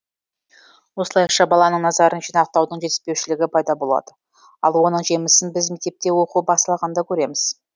осылайша баланың назарын жинақтаудың жетіспеушілігі пайда болады ал оның жемісін біз мектепте оқу басталғанда көреміз